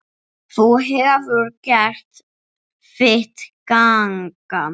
Þú hefur gert þitt gagn.